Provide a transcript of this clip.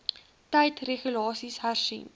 tyd regulasies hersien